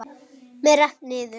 Með rennt niður.